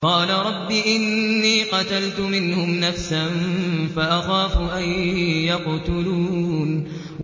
قَالَ رَبِّ إِنِّي قَتَلْتُ مِنْهُمْ نَفْسًا فَأَخَافُ أَن يَقْتُلُونِ